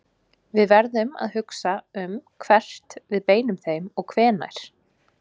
Við verðum að hugsa um hvert við beinum þeim og hvenær.